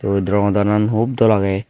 witdro godanan hub dol agey.